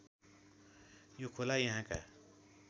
यो खोला यहाँका